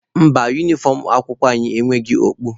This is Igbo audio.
Mba, unifọm akwụkwọ anyị enweghị okpu.